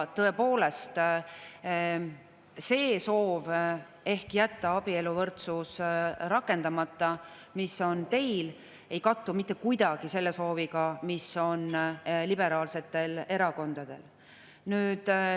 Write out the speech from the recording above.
Tõepoolest, see soov, mis on teil, et jätta abieluvõrdsus rakendamata, ei kattu mitte kuidagi selle sooviga, mis on liberaalsetel erakondadel.